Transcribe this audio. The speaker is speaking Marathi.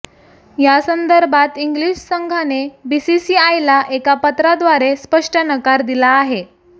यासंदर्भात इंग्लीश संघाने बीसीसीआयला एका पत्राद्वारे स्पष्ट नकार दिला आहे